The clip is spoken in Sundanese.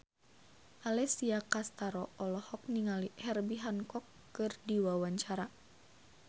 Alessia Cestaro olohok ningali Herbie Hancock keur diwawancara